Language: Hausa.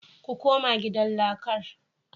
Ku koma gidan lakar